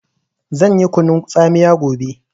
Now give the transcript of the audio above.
Zan yi kunun tsamiya gobe